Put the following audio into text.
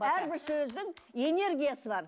әрбір сөздің энергиясы бар